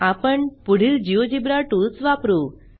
आपण पुढील GeoGebra tools वापरू